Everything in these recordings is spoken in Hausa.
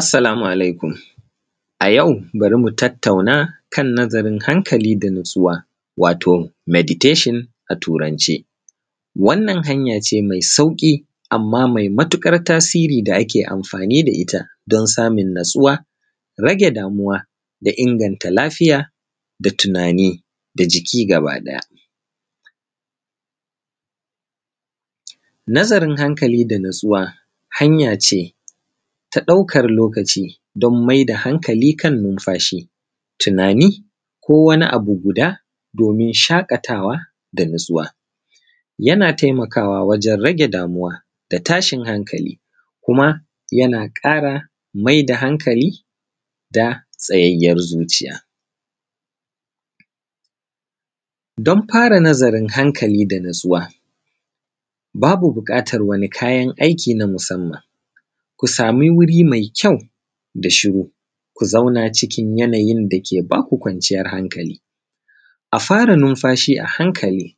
Assalamu alaikum. A yau bari mu tattauna kan nazarin hankali da nutsuwa, wato meditation a Turance. Wannan hanya ce mai sauƙi, amma mai matuƙar tasiri da ake amfani da ita don samun nutsuwa, rage damuwa da inganta lafiya da tunani da jiki gaba ɗaya. Nazarin hankali da nutsuwa, hanya ce ta ɗaukar lokaci, don mai da hankali kan numfashi, tunani, ko wani abu guda, domin shaƙatawa da nutsuwa. Yana taimakawa wajen rage damuwa da tashin hankali, kuma yana ƙara mai da hankali, da tsayayyar zuciya. Don fara nazarin hankali da nutsuwa, babu buƙatar wani kayan aiki na musamman. Ku sami wuri mai kyau da shiru; ku zauna kuna cikin yanayin da ke ba ku kwanciyar hankali; a fara numfashi a hankali;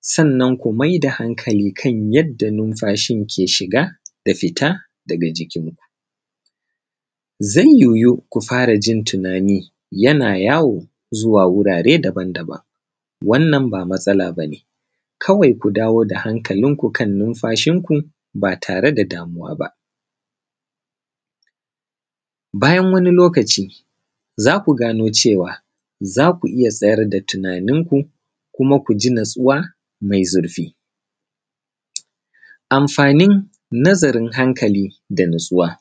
sannan ku mai da hankali kan yadda numfashin ke shiga da fita daga jikinku. Zan yoyu ku fara jin tunani yana yawo zuwa wurare daban-daban, wannan ba matsala ba ne. Kawai ku dawo da hankalinku kan numfashinku ba tare da damuwa ba. Bayan wani lokaci, za ku gano cewa za ku iya tsayar da tunaninku, kuma ku ji nutsuwa mai zurfi. Amfanin nazarin hankali da nutsuwa,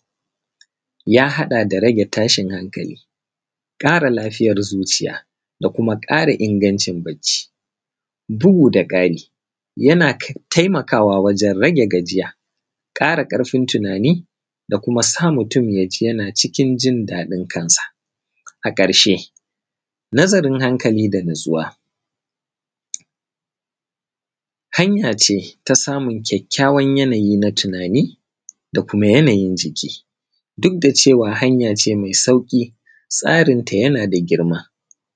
ya haɗa da rage tashin hankali, ƙara lafiyar zuciya, da kuma ƙara ingancin bacci. Bugu da ƙari, yana taimakawa wajen rage gajiya, ƙara ƙarfin tunani, da kuma sa mutum ya ji yana cikin jin daɗin kansa. A ƙarshe, nazarin hankali da nutsuwa, hanya ce ta samun kyakyawan yanayi na tunani, da kuma yanayin jiki. Duk da cewa hanya ce mai sauƙi, tsarinta yana da girma.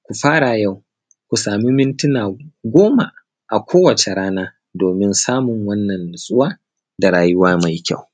Ku fara yau, ku sami mintuna goma a kowace rana domin samun wannan nutsuwa da rayuwa mai kyau.